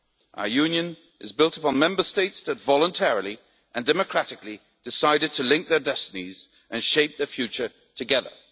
Our Union is built upon Member States that voluntarily and democratically decided to link their destinies and shape the future together.